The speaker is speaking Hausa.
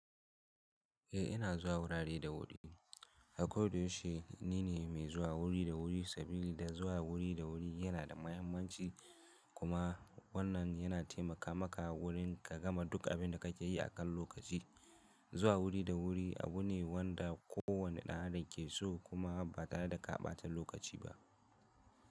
Eh ina zuwa wurare da wuri, ako da yaushe nine mai zuwa wuri da wuri saboda zuwa wuri da wuri yana da muhimmanci kuma wannan yana taimaka maka wurin ka gama duk abinda kake yi akan lokaci. Zuwa wuri da wuri abu ne wanda kowane ɗan adam ke so kuma ba tare da ka ɓata lokaci ba.